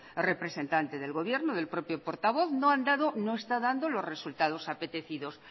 representante del gobierno del propio portavoz no han dado no está dando los resultados apetecidos